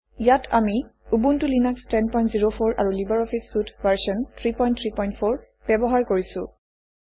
ইয়াত আমি Ubuntu Linux 1004 আৰু লিবাৰ অফিছ চুইট ভাৰ্চন 334 ব্যৱহাৰ কৰিছোঁ